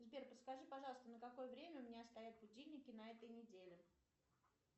сбер подскажи пожалуйста на какое время у меня стоят будильники на этой неделе